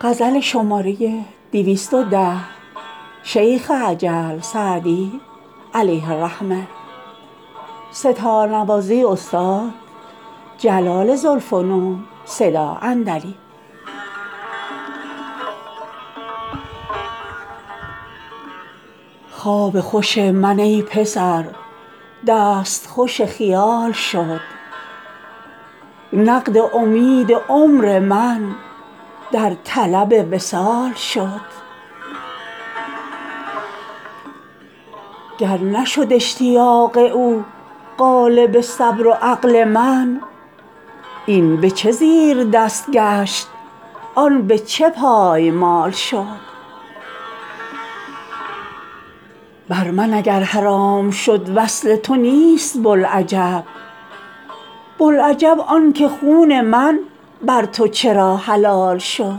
خواب خوش من ای پسر دست خوش خیال شد نقد امید عمر من در طلب وصال شد گر نشد اشتیاق او غالب صبر و عقل من این به چه زیردست گشت آن به چه پایمال شد بر من اگر حرام شد وصل تو نیست بوالعجب بوالعجب آن که خون من بر تو چرا حلال شد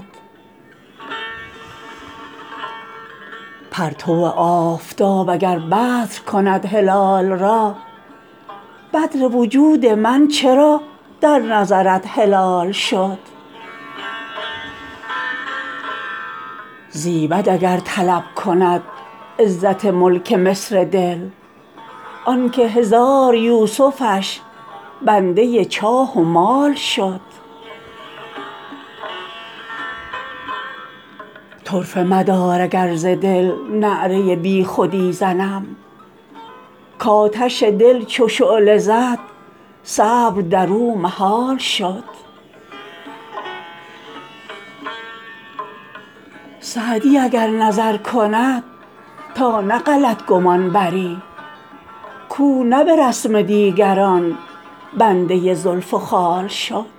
پرتو آفتاب اگر بدر کند هلال را بدر وجود من چرا در نظرت هلال شد زیبد اگر طلب کند عزت ملک مصر دل آن که هزار یوسفش بنده جاه و مال شد طرفه مدار اگر ز دل نعره بی خودی زنم کآتش دل چو شعله زد صبر در او محال شد سعدی اگر نظر کند تا نه غلط گمان بری کاو نه به رسم دیگران بنده زلف و خال شد